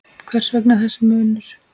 Hvers vegna þessi munur?